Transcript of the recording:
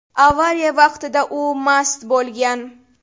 Avariya vaqtida u mast bo‘lgan.